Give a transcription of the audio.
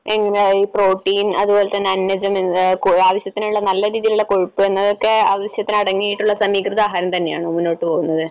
എങ്ങനെ ഈ പ്രോട്ടീൻ അതുപോലെതന്നെ അന്നജം ആവശ്യത്തിന് നല്ല നല്ല രീതിയിലുള്ള കൊഴുപ്പ് എന്നതൊക്കെ ആവശ്യത്തിന് അടങ്ങിയിട്ടുള്ള സമീകൃതാഹാരം തന്നെയാണോ മുന്നോട്ടു പോകുന്നത്?